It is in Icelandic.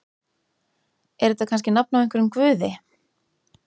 Er þetta kannski nafn á einhverjum guði?